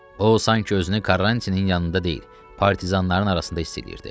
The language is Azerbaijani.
O sanki özünü Karrantinin yanında deyil, partizanların arasında hiss eləyirdi.